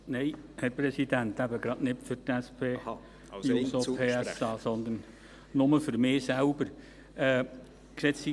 Nein, Herr Präsident, eben nicht für die SP-JUSO-PSA, sondern nur für mich selbst.